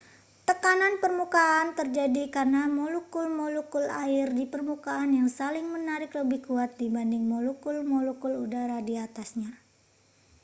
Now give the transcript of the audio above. tekanan permukaan terjadi karena molekul-molekul air di permukaan yang saling menarik lebih kuat dibanding molekul-molekul udara di atasnya